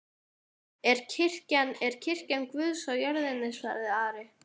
En kirkjan er kirkja Guðs á jörðinni, sagði Ari.